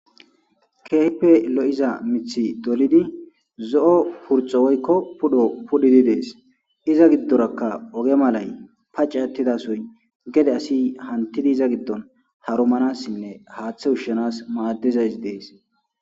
Kehipe lo'izane mithi dolidi zo'o purto woyko pudho pudhidi des iza gidoraka oge malay pac'e atida sohoy gede asi hantidi iza gidon harumanasinne hate ushanas madizaysi des.